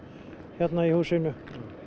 hérna í húsinu